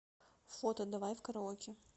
фото давай в караоке